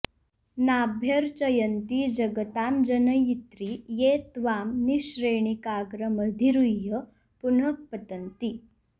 नाभ्यर्चयन्ति जगतां जनयित्रि ये त्वां निःश्रेणिकाग्रमधिरुह्य पुनः पतन्ति